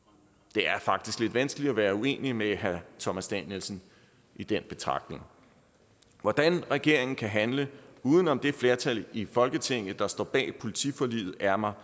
det er faktisk lidt vanskeligt at være uenig med herre thomas danielsen i den betragtning hvordan regeringen kan handle uden om det flertal i folketinget der står bag politiforliget er mig